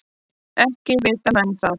Ekki vita menn það.